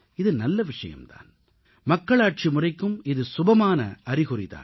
இது நல்ல விஷயம் தான் மக்களாட்சி முறைக்கும் இது சுபமான அறிகுறி தான்